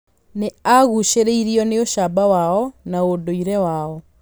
Nĩ aagucĩrĩirio nĩ ũcamba wao na ũndũire wao.